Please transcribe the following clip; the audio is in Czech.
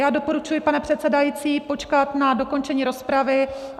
Já doporučuji, pane předsedající, počkat na dokončení rozpravy.